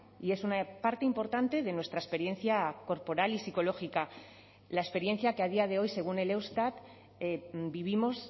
y es una parte importante de nuestra experiencia corporal y psicológica la experiencia que a día de hoy según el eustat vivimos